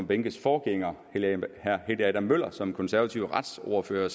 behnkes forgænger herre helge adam møller sagde som konservativ retsordfører